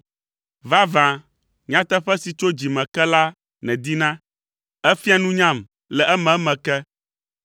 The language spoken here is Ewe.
Vavã, nyateƒe si tso dzi me ke la nèdina; èfia nunyam le ememe ke.